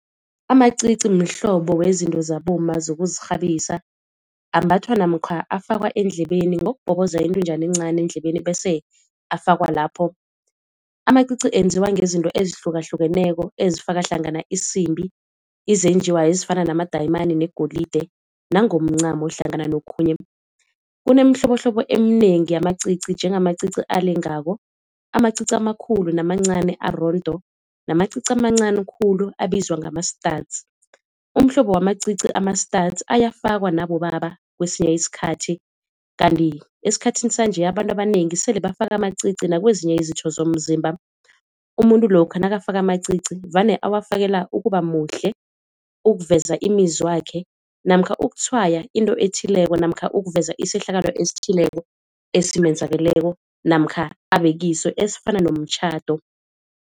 Amacici mhlobo wezinto zabomma zokuzirhabisa, ambathwa namkha afakwa endlebeni ngokubhoboza intunjana encani endlebeni bese afakwa lapho. Amacici enziwa ngezinto ezihlukahlukeneko ezifaka hlangana isimbi, izenjiwa ezifana namadayimani negolide nangomncamo hlangana nokhunye. Kunemihlobohlobo eminengi yamacici njengamacici alengako, amacici amakhulu namancani arondo, namacici amancani khulu abizwa ngama-studs. Umhlobo wamacici ama-studs ayafakwa nabobaba kwesinye isikhathi. Kanti esikhathini sanje abantu abanengi sele bafaka amacici nakwezinye izitho zomzimba. Umuntu lokha nakafaka amacici vane awafakela ukuba muhle, ukuveza imizwa yakhe namkha ukutshwaya into ethileko namkha ukuveza isehlakalo esithileko esimenzakeleko namkha abekiso esifana nomtjhado.